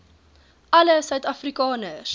alle suid afrikaners